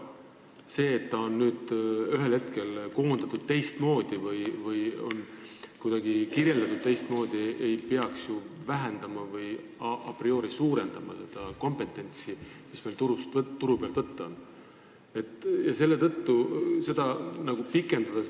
See, et ühel hetkel on see koondatud või kirjeldatud kuidagi teistmoodi, ei peaks ju vähendada või a priori suurendama seda kompetentsi, mis meil turu pealt võtta on.